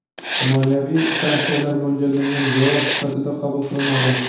moliyaviy sanksiyalar mo‘ljallangan javob sifatida qabul qilinadi.